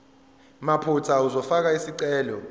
mathupha uzofaka isicelo